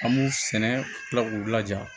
An b'u sɛnɛ kila k'u laja